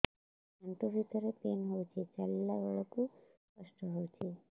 ଆଣ୍ଠୁ ଭିତରେ ପେନ୍ ହଉଚି ଚାଲିଲା ବେଳକୁ କଷ୍ଟ ହଉଚି